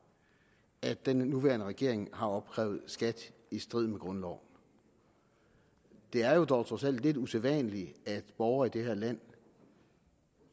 at den nuværende regering har opkrævet skat i strid med grundloven det er jo dog trods alt lidt usædvanligt at borgere i det her land